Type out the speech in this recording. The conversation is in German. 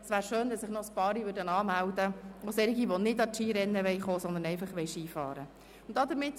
Es wäre schön, wenn sich noch einige anmelden würden, auch solche, die nicht am Skirennen teilnehmen wollen, sondern nur Ski fahren wollen.